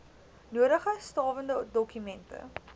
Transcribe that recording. nodige stawende dokumente